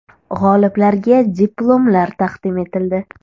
G‘oliblarga diplomlar taqdim etildi.